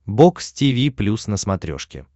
бокс тиви плюс на смотрешке